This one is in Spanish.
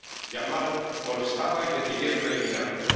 Yamal molestaba y decidieron eliminarlo.